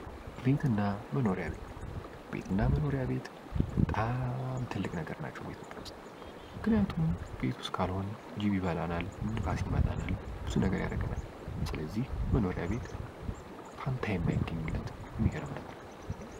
ቤትና መኖሪያ ቤት ቤትና መኖሪያ ቤት ፦በጣም ትልቅ ነገር ናቸው ኢትዮጵያ ውስጥ ምከንያቱም ቤት ውስጥ ካልሆን ጅብ ይበላናል፤ ብርድ ይመታናል፤ ብዙ ነገር ያደርገናል። ስለዚህ መኖሪያ ቤት ፈንታ የማይገኝለት የሚገርም ነገር ነዉ።